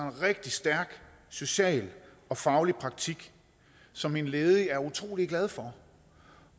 en rigtig stærk social og faglig praktik som en ledig er utrolig glad for